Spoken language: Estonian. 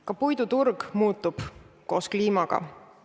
Ka puiduturg muutub koos kliimaga.